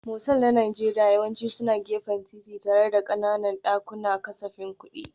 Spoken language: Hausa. Motel na Najeriya yawanci suna gefen titi tare da ƙananan dakunan kasafin kuɗi.